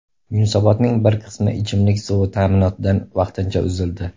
Yunusobodning bir qismi ichimlik suvi ta’minotidan vaqtincha uzildi.